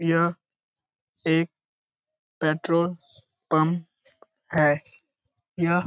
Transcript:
यह एक petrol pump है। यह --